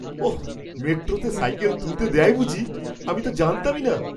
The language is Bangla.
ওহ! মেট্রোতে সাইকেল তুলতে দেয় বুঝি। আমি তো জানতামই না।